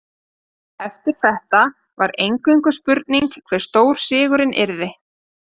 Eftir þetta var eingöngu spurning hve stór sigurinn yrði.